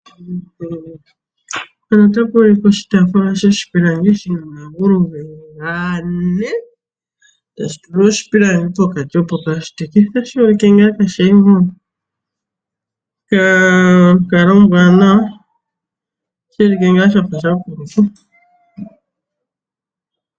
Mpano otapu ulike oshitafula shoshipilangi shina omagulu geli gane, tashi tulwa oshipilangi pokati opo kaashiteke. Otashi ulike ngaa kaashili monkalo ombwanawa, otashi ulike ngaa shafa sha kulupa.